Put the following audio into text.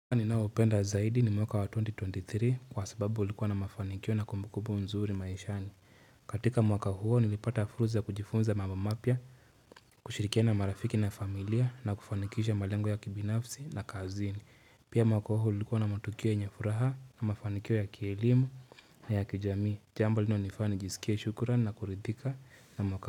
Mwaka ninaopenda zaidi ni mwaka 2023 kwa sababu ulikuwa na mafanikio na kumbukubu nzuri maishani. Katika mwaka huo nilipata fursa ya kujifunza mambo mapya, kushirikiana na marafiki na familia na kufanikisha malengo ya kibinafsi na kazini. Pia mwaka huu ulikuwa na matukio yenye furaha na mafanikio ya kielimu na ya kijamii. Jambo linalonifanya jisikie shukuran na kuridhika na mwaka.